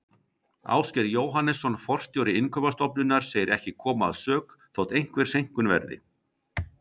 Ásgeir Jóhannesson forstjóri Innkaupastofnunar segir ekki koma að sök þótt einhver seinkun verði.